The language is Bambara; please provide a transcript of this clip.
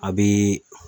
A bɛ